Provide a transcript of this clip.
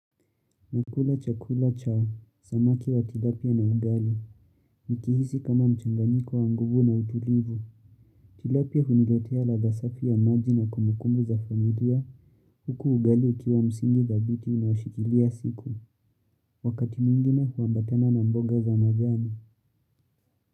Nakula chakula cha, samaki wa tilapia na ugali, nikihisi kama mchanganyiko wa nguvu na utulivu, tilapia huniletea ladha safi ya maji na kumbukumbu za familia, huku ugali ukiwa msingi dhabiti unaoshikilia siku, wakati mwingine huambatana na mboga za majani.